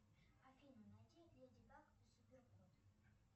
афина найди леди баг и супер кот